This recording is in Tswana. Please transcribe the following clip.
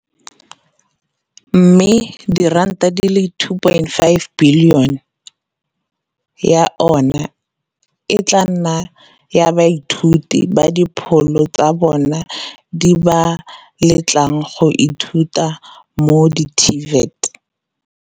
mme R2.585 bilione ya yona e tla nna ya baithuti ba dipholo tsa bona di ba letlang go ithuta mo di-TVET.